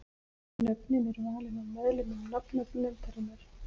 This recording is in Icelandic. Nöfnin eru valin af meðlimum nafnanefndarinnar.